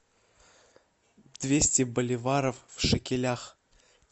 двести боливаров в шекелях